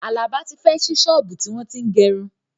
Àlàbá tí fẹ́ ṣí ṣọ́ọ̀bú tí wọ́n tín gẹrun